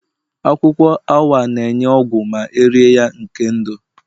Akwukwo AWA na-enye ogwu ma erie ya nke ndu